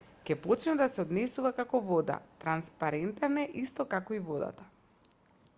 ќе почне да се однесува како вода транспарентен е исто како и водата